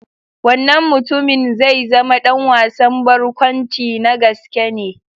Wannan mutumin zai zama ɗan wasan barkwanci na gaske ne.